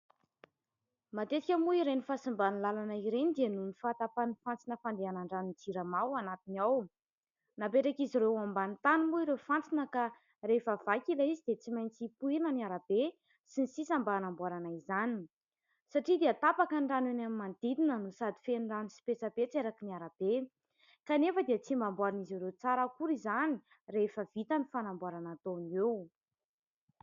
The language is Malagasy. Matetika moa ireny fahasimban'ny lalana ireny dia noho ny fahatapan'ny fantsona fandehanan-dranon'ny Jirama ao anatiny ao. Napetrak' izy ireo ambanin'ny tany moa ireo fantsona ka rehefa vaky ilay izy dia tsy maintsy ho pohirina ny arabe sy ny sisa mba hanamboarana izany : satria dia tapaka ny rano eny amin'ny manodidina, no sady feno rano sy petsapetsa erakin' ny arabe ; kanefa dia tsy mba amboarin'izy ireo tsara akory izany rehefa vita ny fanamboarana ataony eo.